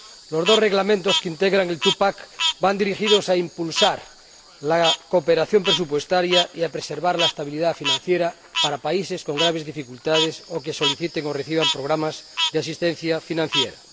Los dos reglamentos que integran el TUPAC van dirigidos a impulsar la cooperación presupuestaria y a preservar la estabilidad financiera de los países con graves dificultades o que soliciten o requieran programas de asistencia financiera.